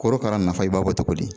Korokara nafa i b'a bɔ togo di?